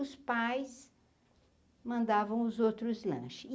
Os pais mandavam os outros lanche.